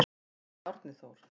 Sagði Árni Þór.